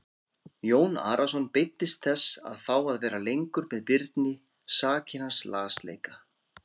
Jón Arason beiddist þess að fá að vera lengur með Birni sakir hans lasleika.